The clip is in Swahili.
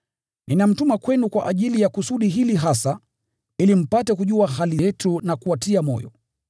Ninamtuma kwenu kwa ajili ya kusudi hili hasa, ili mpate kujua hali yetu, na awatie moyo.